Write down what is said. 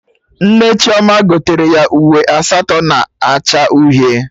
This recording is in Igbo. Nne Chioma gotere ya uwe asatọ na acha uhie